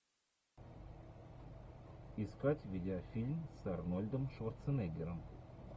искать видеофильм с арнольдом шварценеггером